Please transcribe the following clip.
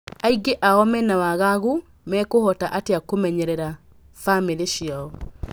Aingĩ ao mena wagagu mekũhota atĩa kũmenyerera bamĩrĩ ciao.